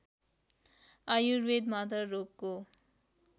आयुर्वेद मात्र रोगको